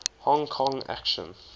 hong kong action